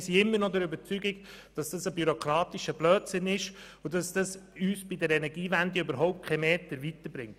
Wir sind immer noch der Überzeugung, dass es sich dabei um einen bürokratischen Blödsinn handelt und auch, dass uns das bei der Energiewende keinen Meter weiter bringt.